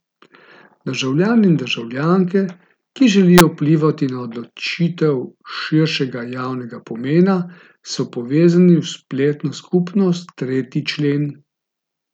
Državljani in državljanke, ki želijo vplivati na odločitve širšega javnega pomena, so povezani v spletno skupnost Tretji člen.